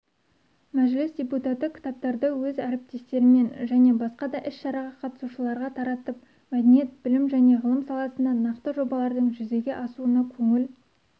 мәжіліс депутаты кітаптарды өз әріптестеріне және басқа да іс-шараға қатысушыларға таратып мәдениет білім және ғылым саласында нақты жобалардың жүзеге асуына көңіл